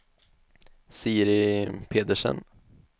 Siri Pedersen